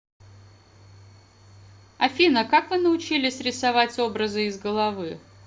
афина как вы научились рисовать образы из головы